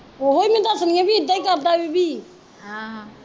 ਉਹੀਂ ਮੈਂ ਦੱਸਦੀ ਆ ਵੀ ਇੱਦਾਂ ਈ ਕਰਦਾ ਈਵੀ ਆਹ